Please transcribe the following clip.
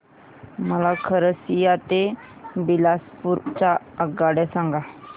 मला खरसिया ते बिलासपुर च्या आगगाड्या सांगा